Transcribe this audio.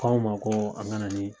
K'anw ma ko an ga na ni